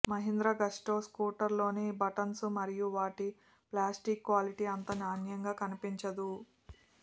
Mahindra Gusto స్కూటర్లోని buttons మరియు వాటి ప్లాస్టిక్ క్వాలిటీ అంత నాణ్యంగా అనిపించదు